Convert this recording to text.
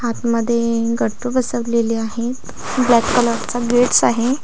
आतमध्ये गट्टू बसवलेले आहेत ब्लॅक कलर्सचा गेट्स आहे.